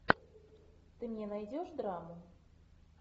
ты мне найдешь драму